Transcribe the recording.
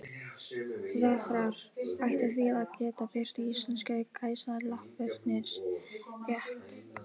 Vafrar ættu því að geta birt íslensku gæsalappirnar rétt.